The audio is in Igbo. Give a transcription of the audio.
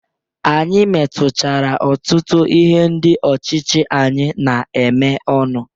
Anyị metuchara ọtụtu ihe ndị ọchịchị anyị na-eme ọnụ.